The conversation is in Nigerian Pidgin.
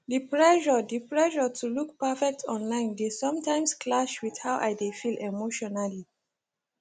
the pressure the pressure to look perfect online dey sometimes clash with how i dey feel emotionally